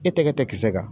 E tɛgɛ tɛ kisɛ kan